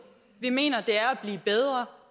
vi mener det er at blive bedre